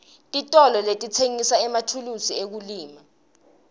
titolo letitsengisa emathulusi ekulima